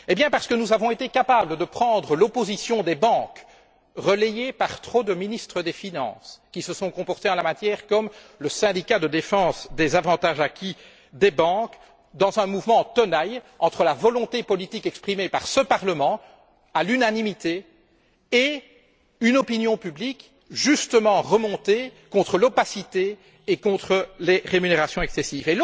Eh bien, parce que nous avons été capables de prendre l'opposition des banques relayée par trop de ministres des finances, qui se sont comportés en la matière comme le syndicat de défense des avantages acquis des banques dans un mouvement en tenailles entre la volonté politique exprimée par ce Parlement, à l'unanimité, et une opinion publique justement remontée contre l'opacité et contre les rémunérations excessives.